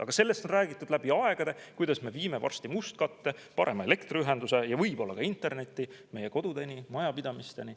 Aga sellest on räägitud läbi aegade, kuidas me viime varsti mustkatte alla ning parema elektriühenduse ja võib-olla ka interneti kodudeni, majapidamisteni.